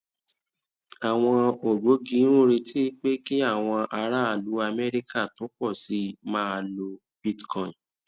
àwọn ògbógi ń retí pé kí àwọn aráàlú amẹríkà tó pọ sí i máa lo bitcoin